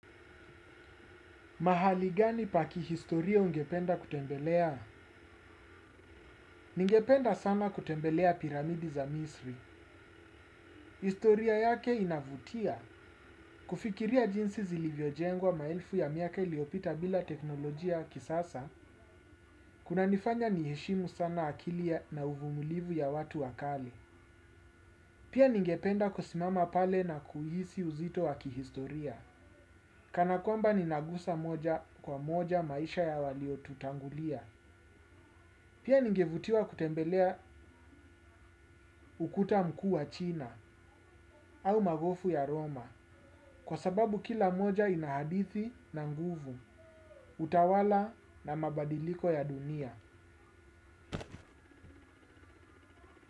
Mahali gani pa kihistoria ungependa kutembelea? Ningependa sana kutembelea piramidi za misri. Historia yake inavutia. Kufikiria jinsi zilivyojengwa maelfu ya miaka iliopita bila teknolojia ya kisasa, kunanifanya niheshimu sana akili na uvumulivu ya watu wakale. Pia ningependa kusimama pale na kuhisi uzito wa kihistoria. Kana kwamba ninagusa moja kwa moja maisha ya waliotutangulia. Pia ningevutiwa kutembelea ukuta mkuu wa china au magofu ya Roma kwa sababu kila moja ina hadithi na nguvu utawala na mabadiliko ya dunia.